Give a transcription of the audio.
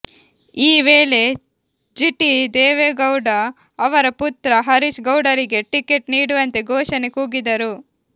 ಈ ವೇಳೆ ಜಿಟಿ ದೇವೇಗೌಡ ಅವರ ಪುತ್ರ ಹರೀಶ್ ಗೌಡರಿಗೆ ಟಿಕೆಟ್ ನೀಡುವಂತೆ ಘೊಷಣೆ ಕೂಗಿದರು